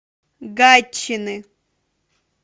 гатчины